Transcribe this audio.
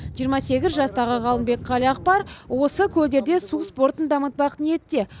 жиырма сегіз жастағы ғалымбек қалиақпар осы көлдерде су спортын дамытпақ ниетте